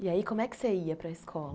E aí como é que você ia para a escola?